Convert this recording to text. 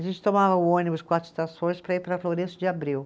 A gente tomava o ônibus quatro estações para ir para a Florêncio de Abreu.